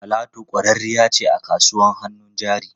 Talatu kwararriya ce a kasuwar hannun jari.